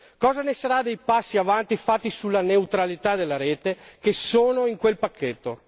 Cosa ne sarà dei passi avanti fatti sulla neutralità della rete, che sono in quel pacchetto?